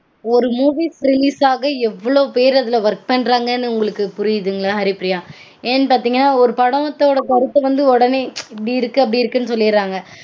ஒரு movie release ஆக எவ்வளவு பேர் அதுல work பண்றாங்கனு உங்களுக்கு புரியுதுங்களா ஹரிப்பிரியா? ஏன்னு பாத்தீங்கனா ஒரு படத்தோட கருத்து வந்து உடனே இது இப்படி இருக்கு அப்படி இருக்குனு சொல்லிடறாங்க